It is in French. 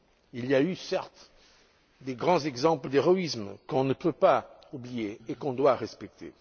Il y a eu, certes, de grands exemples d'héroïsme, qu'on ne peut pas oublier et qu'on doit respecter.